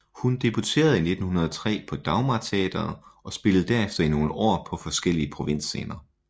Hun debuterede i 1903 på Dagmarteatret og spillede derefter i nogle år på forskellige provinsscener